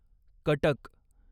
Cuttack